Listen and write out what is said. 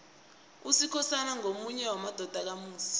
usikhosana ngomunye wamadodana kamusi